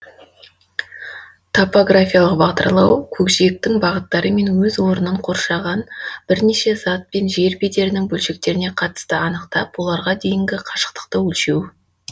топографиялық бағдарлау көкжиектің бағыттары мен өз орнын қоршаған бірнеше зат пен жер бедерінің бөлшектеріне қатысты анықтап оларға дейінгі қашықтықты өлшеу